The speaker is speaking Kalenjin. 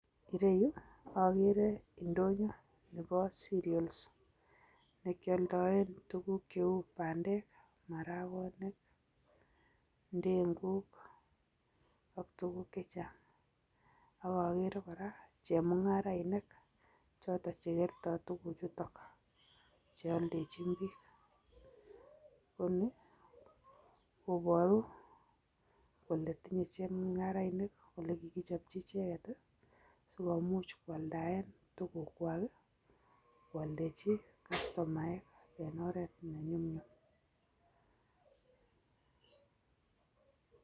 Ireu akere ndonyo nebo cereals nekyoldoen tukuk cheu marakwek, ndenguk ak tukuk chechang ak akere kora chemung'arainik cheoldechin biik tukuk chuton koni koboru kole tinye chemung'arainik kole kikichopchi icheket sikomuch koaldaen tukuk kwak en oret nenyumnyum.